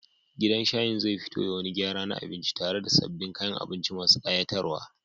Gidan shayin zai fito da wani gyara na abinci tare da sabbin kayan abinci masu ƙayatarwa.